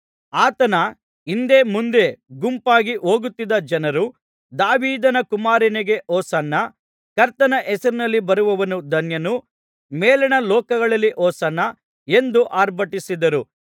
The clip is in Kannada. ಆತನ ಹಿಂದೆ ಮುಂದೆ ಗುಂಪಾಗಿ ಹೋಗುತ್ತಿದ್ದ ಜನರು ದಾವೀದನ ಕುಮಾರನಿಗೆ ಹೊಸನ್ನ ಕರ್ತನ ಹೆಸರಿನಲ್ಲಿ ಬರುವವನು ಧನ್ಯನು ಮೇಲಣ ಲೋಕಗಳಲ್ಲಿ ಹೊಸನ್ನ ಎಂದು ಆರ್ಭಟಿಸಿದರು